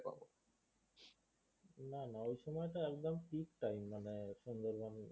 না না ওই সময় টা একদম pick time মানে সুন্দরবন